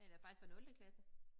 Eller faktisk fra nulte klasse